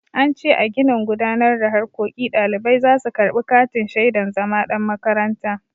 An ce a ginin gudanar da harkoki ɗalibai za su karɓi katin shaidan zama ɗan makaranta.